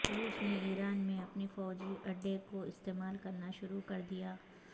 روس نے ایران میں اپنے فوجی اڈے کو استعمال کرنا شروع کردیا